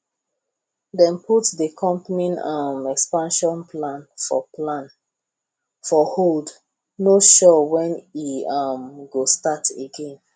dem put the company um expansion plan for plan for hold no sure when e um go start again